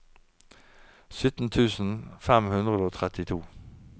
sytten tusen fem hundre og trettito